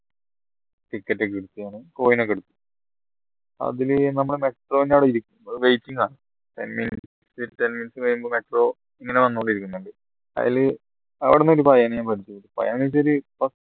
ticket ഒക്കെ എടുത്തു അതിലെ നമ്മുടെ metro ന്റെ അവിടെ ഇരി waiting ആ ten minutes കഴിയുമ്പോ metro ഇങ്ങനെ വന്നുണ്ടിരിക്കുന്നുണ്ട് അയിൽ അവ്ട്ന്ന്